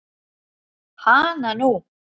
Hana nú.